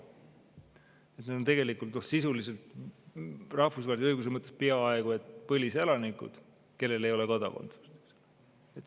Need on sisuliselt rahvusvahelise õiguse mõttes peaaegu et põliselanikud, kellel ei ole kodakondsust.